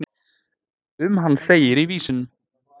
Um hann segir í vísunum.